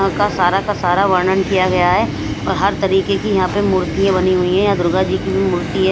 उनका का सारा का सारा वर्णन किया गया है और हर तरीके की यहां पर मूर्तियां बनी हुई है दुर्गा जी की मूर्ति है।